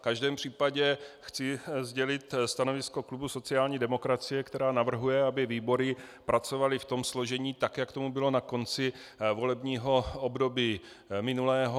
V každém případě chci sdělit stanovisko klubu sociální demokracie, která navrhuje, aby výbory pracovaly v tom složení, tak jak tomu bylo na konci volebního období minulého.